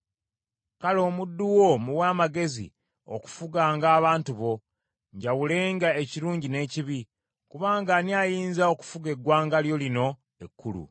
Kale omuddu wo muwe amagezi okufuganga abantu bo, njawulenga ekirungi n’ekibi: kubanga ani ayinza okufuga eggwanga lyo lino ekkulu?”